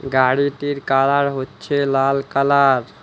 গাড়িটির কালার হচ্ছে লাল কালার ।